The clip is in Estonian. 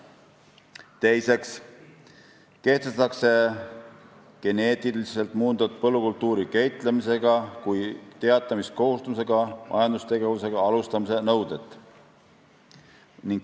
Teiseks kehtestatakse geneetiliselt muundatud põllukultuuri käitlemisega kui teatamiskohustusega majandustegevusega alustamise nõuded.